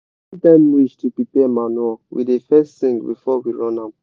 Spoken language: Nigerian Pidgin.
when time reach to prepare manure we da fes sing before we run am